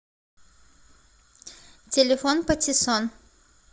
телефон патиссон